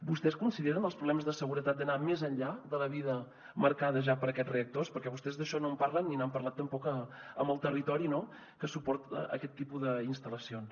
vostès consideren els problemes de seguretat d’anar més enllà de la vida marcada ja per a aquests reactors perquè vostès d’això no en parlen ni n’han parlat tampoc amb el territori no que suporta aquest tipus d’instal·lacions